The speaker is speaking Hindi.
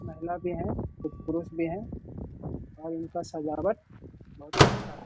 महिला भी है कुछ पुरुष भी है और उनका सजावट बहुत अच्छा है।